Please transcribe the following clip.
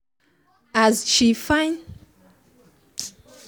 as she follow person talk when water pass garri water pass garri she find solution to her problem